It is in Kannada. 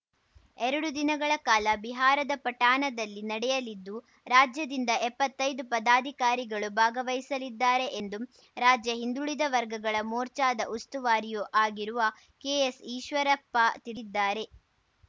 ಎರಡು ದಿನಗಳ ಕಾಲ ಬಿಹಾರದ ಪಟನಾದಲ್ಲಿ ನಡೆಯಲಿದ್ದು ರಾಜ್ಯದಿಂದ ಎಪ್ಪತ್ತೈದು ಪದಾಧಿಕಾರಿಗಳು ಭಾಗವಹಿಸಲಿದ್ದಾರೆ ಎಂದು ರಾಜ್ಯ ಹಿಂದುಳಿದ ವರ್ಗಗಳ ಮೋರ್ಚಾದ ಉಸ್ತುವಾರಿಯೂ ಆಗಿರುವ ಕೆಎಸ್‌ಈಶ್ವರಪ್ಪ ತಿಳಿದ್ದಾರೆ